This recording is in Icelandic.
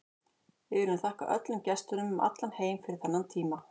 Við viljum þakka öllum gestunum um allan heim fyrir þennan tíma.